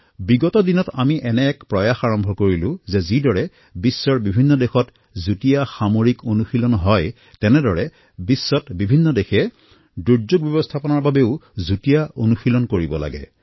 বিগত দিনসমূহত আমি এটা প্ৰয়াস আৰম্ভ কৰিছিলোঁ যে যিদৰে বিশ্বত যৌথ মিলিটাৰী অভ্যাস হয় ঠিক সেইদৰে সমগ্ৰ বিশ্বতে দুৰ্যোগ ব্যৱস্থাপনাৰ বাবেও যৌথ প্ৰয়াস হব লাগে